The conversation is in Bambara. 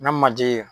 N ka manje